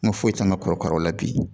N ka foyi tɛ n ka kɔrɔkaraw la bi